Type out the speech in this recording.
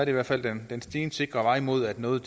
i hvert fald den stensikre vej mod at noget